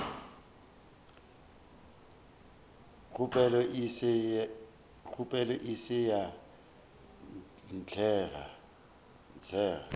kgopelo e se ya atlega